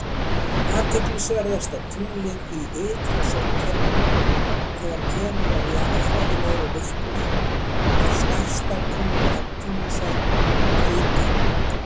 Athyglisverðasta tunglið í ytra sólkerfinu, þegar kemur að jarðfræðilegri virkni, er stærsta tungl Neptúnusar, Tríton.